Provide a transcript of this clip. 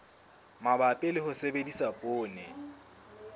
mabapi le ho sebedisa poone